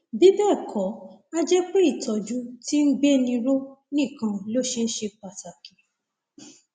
bí bẹẹ kọ a jẹ pé ìtọjú tí ń gbéni ró nìkan ló ṣe ṣe pàtàkì